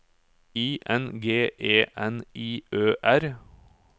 I N G E N I Ø R